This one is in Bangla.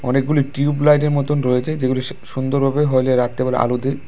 অনেকগুলি টিউবলাইট এর মতন রয়েছে যেগুলো সু-সুন্দরভাবে হইলে রাত্রেবেলা আলো দেয়।